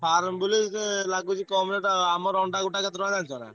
ଆମର ଅଣ୍ଡକେତେ ଟଙ୍କା ଜାଣିଛ?